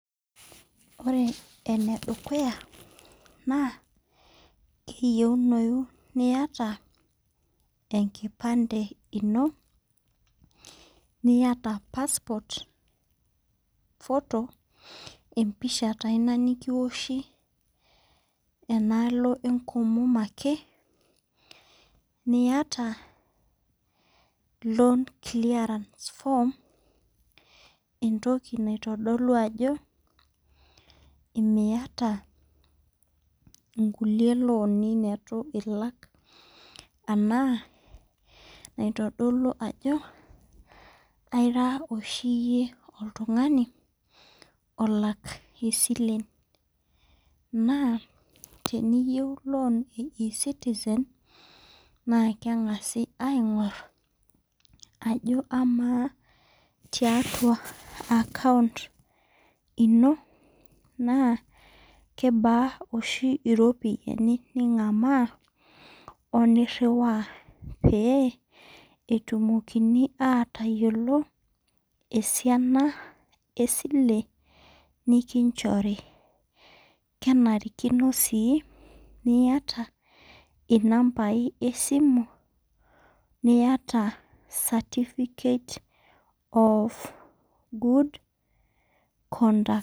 Ore ene dukuya naa kiyieuniyu niata enkipande ino. niyata passport photo empisha taa Ina nikioshi enaalo enkomom ake .niata loan clearance form entoki naitodolu ajo Miata nkulie looni neitu ilak. anaa naitodolu ajo aira oshi iyie oltungani olak isilen.na teniyieu loan e citizen na keng'asi aigor ajo amaa tiatua account ino kebaa oshi iropiyiani. ningamaa oniriwaa. pee etumokini aatayiolo esiana esile nikinchori. kenarikino sii niata inambai esimu niata certificate of good conduct.